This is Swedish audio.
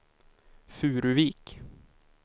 Furuvik